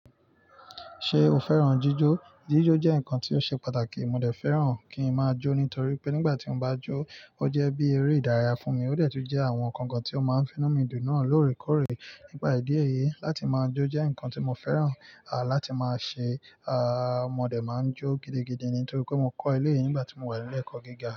Ṣé o fẹ́ràn jíjó? Jíjó jẹ́ nǹkan tí ó ṣe pàtàkì. Mo dé fẹ́ràn kí ń máa jó nítorí pé nígbà tí mo bá jó, ó jẹ́ bí eré ìdárayá fún mi. Ó dẹ̀ tú jẹ́ àwọn nǹkan kan tí ó máa ń finú mi dùn náà lóore kóòrè. Nípa ìdí ẹyẹ, láti máa jó jẹ́ nǹkan tí mo fẹ́ràn láti máa ṣe. Mo dé máa ń jó gidigidi nítorí pé mo kọ́ eleyii nígbà tí mo wà ní ilé ẹ̀kọ́ gíga.